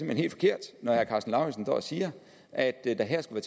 hen helt forkert når herre karsten lauritzen står og siger at der her skulle